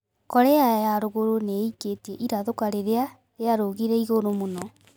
Korea ya rugũrũ niiketie irathũkia "riria riarũgire igũrũ mũno."